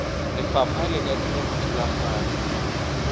lefapha le ka dira dithulaganyo